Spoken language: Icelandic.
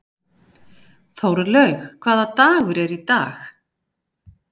Þórlaug, hvaða dagur er í dag?